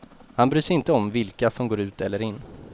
Han bryr sig inte om vilka som går ut eller in.